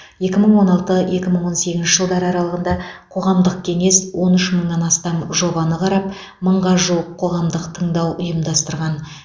екі мың он алты екі мың он сегізінші жылдары аралығында қоғамдық кеңес он үш мыңнан астам жобаны қарап мыңға жуық қоғамдық тыңдау ұйымдастырған